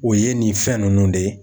O ye nin fɛn nunnu de ye